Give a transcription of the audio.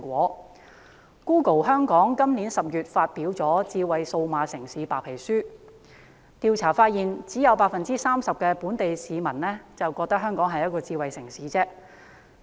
Google 香港今年10月發表了《智慧數碼城市白皮書》，調查發現只有 30% 本地市民覺得香港是智慧城市。